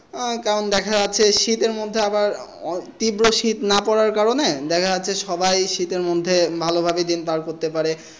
আহ কারণ দেখা যাচ্ছে শীতের মধ্যে আবার তীব্র শীত না পড়ার কারণে দেখা যাচ্ছে সবাই শীতের মধ্যে ভালোভাবে দিন পার করতে পারে